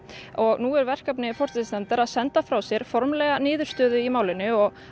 og nú er verkefni forsætisnefndar að senda frá sér formlega niðurstöðu í málinu og